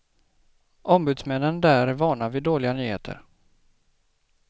Ombudsmännen där är vana vid dåliga nyheter.